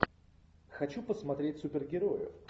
хочу посмотреть супергероев